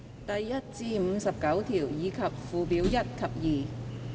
第1至59條，以及附表1及2。